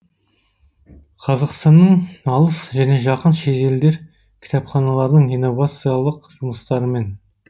қазақстанның алыс және жақын шетелдер кітапханаларының инновациялық жұмыстарымен